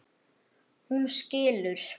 Hún skilur.